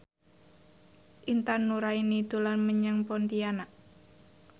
Intan Nuraini dolan menyang Pontianak